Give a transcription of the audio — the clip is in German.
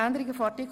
somit genehmigt.